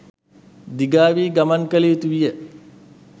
දිගාවී ගමන් කළ යුතුවිය